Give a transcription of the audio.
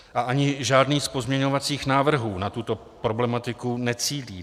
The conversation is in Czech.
A ani žádný z pozměňovacích návrhů na tuto problematiku necílí.